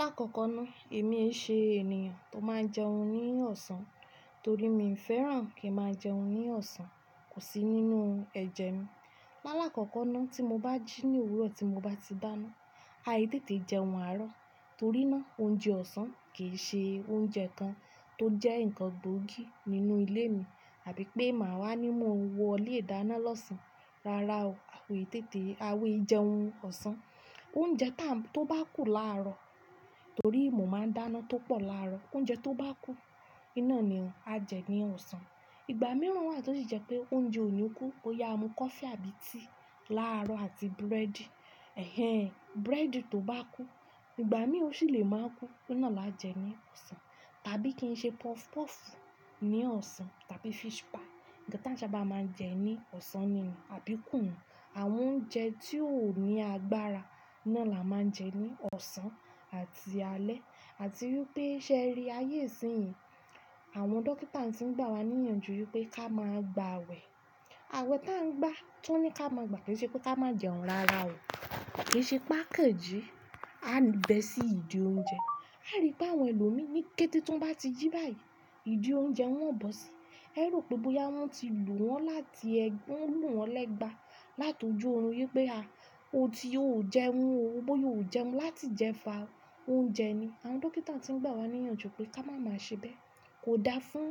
Lákọ̀kọ́ náà èmi ei ṣe ènìyàn tó máa jẹun ní ọ̀sán torí mi ò fẹ́ràn kí n máa jẹun ní ọ̀sán, kò sí nínú ẹ̀jẹ̀ mi. Láàlá kọ̀kan náà tí mo bá jí ní òwúrọ̀ tí mo bá ti da na, aì tètè jẹun àárọ̀ torí náà oúnjẹ ọ̀sán kì í ṣe oúnjẹ kan tó jẹ́ ǹkan gbóògì nínú ilé mi àbí pé màá wá ní mọ́ wọlé dáná lọ́sàn-án rara ò, a ò tètè, a ò í jẹun ọ̀sán. Oúnjẹ tá ń tó bá kù láàrọ̀ torí mo máa ń dáná tó pọ̀ láàrọ̀, oúnjẹ tó bá kù, iná ni, a jẹ ní ọ̀sán. Ìgbà mìíràn wà tí ó sì jẹ́ pé oúnjẹ ò ní kú, bó yá a mu coffee àbí tea láàrọ̀ àti búrẹ́dì, ẹ́hẹ̀n, búrẹ́dì tó bá kú, ìgbà mìíràn ó sì lè máa kú, iná là á jẹ ní ọ̀sán. Tàbí kí n ṣe puff puff ní ọ̀sán tàbí fish pie, ǹkan táa ń sábà máa ń jẹ ní ọ̀sán nìkan àbí kùnù, àwọn oúnjẹ tí ó ò ní agbára náà là á máa ń jẹ ní ọ̀sán àti alẹ́. Àti rí pé ṣé ẹ rí ayé ìsínyi? Àwọn dókítà tí ń gbà wá níyanjú pé ká máa gba aawẹ̀, àwẹ̀ táa ń gbà, ti wo ní ká máa gbà kí ṣe pé ká má jẹun rara o. Kì í ṣe pé a kàn jí, a bẹ́ sí ìdí oúnjẹ. A rí pé àwọn ẹlòmíì ní kété tí wọ́n bá ti jí báyìí, ìdí oúnjẹ ni wọn ò bọ́ sí. Ẹ rò pé bóyá wọ́n ti lù wọ́n láti égba lù wọ́n lẹ́gba, látijó òórùn yí pé a, o ti ò jẹun o, bóyá o jẹun láti ijẹfa oúnjẹ ni. Àwọn dókítà tí ń gbà wá níyanjú pé ká máa má ṣe bẹ́ẹ̀. Kò dáa fún,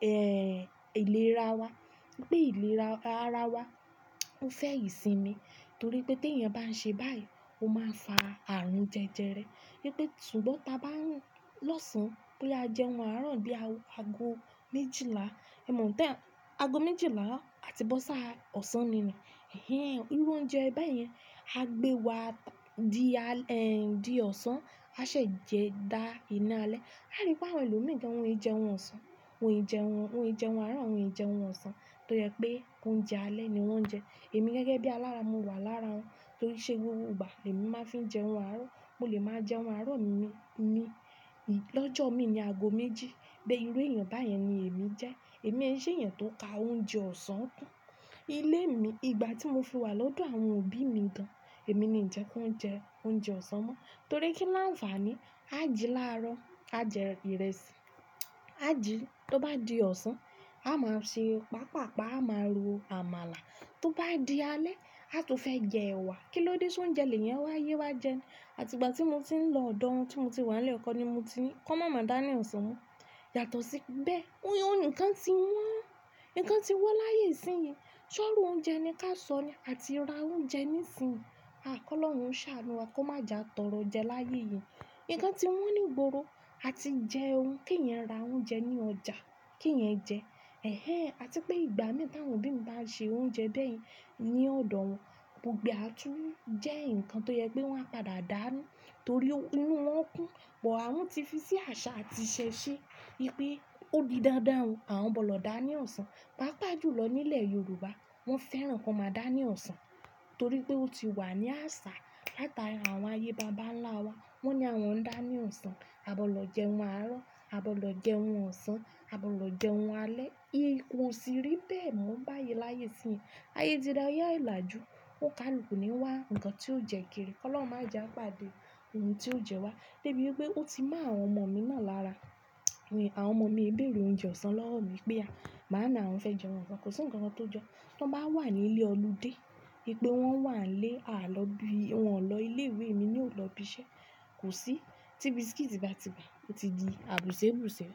ẹ́ẹ́, ìlera wa, pé ìlera ara wa ó fẹ́ ìsinmi torí pé tí ẹ̀yẹn bá ń ṣe báyìí, ó máa fa àrùn jẹjẹrẹ. Rí pé ṣùgbọ́n ta bá ń lọ́sàn-án bóyá jẹun àárọ̀ bí aago méjìlá, ẹ mọ̀ tí èèyàn aago méjìlá àti bọ́ṣà ọ̀sán nù nii, ẹ́hẹ̀n, irú oúnjẹ báyẹn á gbé wa di alẹ́, ẹ di ọ̀sán, a ṣè jẹ da iná alẹ́. A rí pé àwọn ẹlòmíì kí wọn ì jẹun ọ̀sán, wọn ì jẹun, wọn ì jẹun àárọ̀, wọn ì jẹun ọ̀sán toye pé oúnjẹ alẹ́ ni wọ́n ń jẹ. Èmi gẹ́gẹ́ bí alára, mo wà lára wọn torí ṣe wúwo ugbà èmi máa ń fi jẹun àárọ̀, mo lè máa jẹun àárọ̀ mi, mi, ì, lọ́jọ́ mi ní aago méjì, bí irú èèyàn báyẹn ni èmi jẹ́. Èmi ẹ ṣe èèyàn tó ka oúnjẹ ọ̀sán kún. Ilé mi ìgbà tí mo fi wà lọ́dọ̀ àwọn òbí mi gan, èmi ni ń jẹ kí wọn jẹ oúnjẹ ọ̀sán mọ́ torí kí ló ń fàá ni? A jí láàrọ̀, a jẹ ìrẹsì, a jí tó bá di ọ̀sán, a máa ṣe pàápàá a máa ro àmàlà, tó bá di alẹ́ a tún fẹ́ jẹ ẹ̀wà. Kí ló dé tí oúnjẹ èlé yẹn wá ye wá jẹ ni? Àti ìgbà tí mo ti ń lọ ọ̀dọ̀ wọn tí mo ti wà nílẹ̀ kọ́ ni mo ti kàn mọ̀ máa dána ọ̀sán mọ́. Yàtọ̀ sí bẹ́ẹ̀, ohun ǹkan tí wọ́n, nǹkan tí wọ́n láyé ìsínyi, ṣọ́rọ̀ oúnjẹ ni ká sọ ni àti ra oúnjẹ nísinsìnyí. A kọ́ lọ́run ṣà lórí wa kó má já tọrọ jẹ láyé yìí. Ǹkan tí wọ́n ní ìgboro, a ti jẹun kí ìyẹn ra oúnjẹ ní ọjà kí ìyẹn jẹ ẹ́hẹ̀n àti pé ìgbà mìíràn tí àwọn òbí mi bá ń ṣe oúnjẹ bẹ́ẹ̀ ní ọ̀dọ̀ wọn, gbogbo e a tún jẹ́ ǹkan tó yẹ pé wọn á padà dàánú torí inú wọn kún. Ìpò àwọn tí fi sí àṣà àti ṣẹṣẹ́, rí pé ó di dandan o àwọn bọ́ lọ̀ dáa ná ọ̀sán. Pàápàá jùlọ nílẹ̀ Yorùbá, wọ́n fẹ́ràn kọ́ máa dáa ní ọ̀sán torí pé ó ti wà ní àṣà. Látara àwọn ayé bàbá ńlá wa, wọ́n ni àwọn ń dáa ní ọ̀sán, a bọ́ lọ jẹun àárọ̀, a bọ́ lọ jẹun ọ̀sán, a bọ́ lọ jẹun alẹ́. Ǹkan òṣìrì bẹ́ẹ̀ mú báyìí láyé yìí. Ayé ti ra ayé àìlàjú, ó ka ìlùkù ní wá ǹkan tí ó jẹ kiri, kọ́ lọ́ má já pàdé ohun tí ó jẹ wá. Débi pé ó ti mọ àwọn ọmọ mi mọ̀ lára, àwọn ọmọ mi ń bèrè oúnjẹ ọ̀sán lọ́wọ́ mi pé à, "màámi àwọn fẹ́ jẹun ọ̀sán" kò sí ǹkan kan tó jọ, tí wọ́n bá wà ní ilé olùde, wípé wọ́n wà nílé, a lọ bí, wọn lọ ilé ìwé èmi ná ò lọ ibiṣẹ́, kò sí, tí biscuit bá ti bà, ó ti di àbùsẹ́ àbùsẹ́.